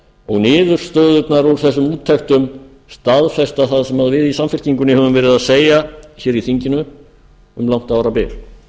og niðurstöðurnar úr þessum úttektum staðfesta það sem við í samfylkingunni höfum verið að segja í þinginu um langt árabil